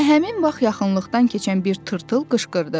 Elə həmin vaxt yaxınlıqdan keçən bir tırtıl qışqırdı: